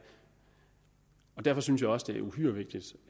og derfor synes jeg også det er uhyre vigtigt